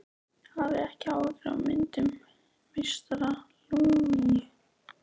Hafið ekki áhyggjur af myndum meistara Lúnu.